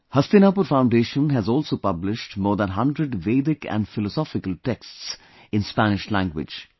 Hastinapur Foundation has also published more than 100 Vedic and philosophical texts in Spanish language